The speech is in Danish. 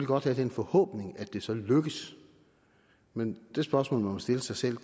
godt have den forhåbning at det så lykkes men det spørgsmål man må stille sig selv